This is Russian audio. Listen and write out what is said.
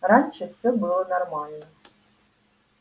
раньше всё было нормально